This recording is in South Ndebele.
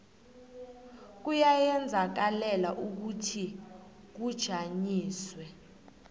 kuyazenzakalela ukuthi kujanyiswe